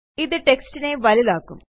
ഇത് textനെ വലുതാക്കും